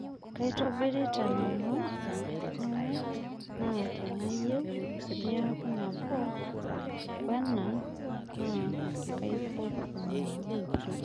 Kaitobirita nanu enkarana ai na teneyieu niaku nabo woena naa kaipotu nanu